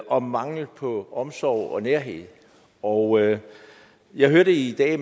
og manglen på omsorg og nærhed og jeg hørte i dag